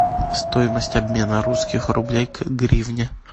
стоимость обмена русских рублей к гривне